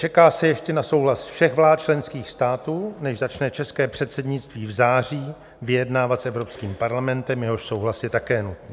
Čeká se ještě na souhlas všech vlád členských států, než začne české předsednictví v září vyjednávat s Evropským parlamentem, jehož souhlas je také nutný.